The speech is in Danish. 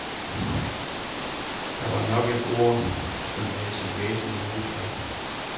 Det var nok et ord, som havde sit væsen imod sig.